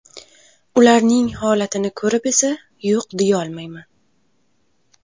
Ularning holatini ko‘rib esa yo‘q deyolmayman.